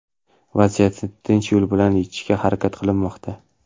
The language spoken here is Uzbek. Vaziyatni tinch yo‘l bilan yechishga harakat qilinmoqda.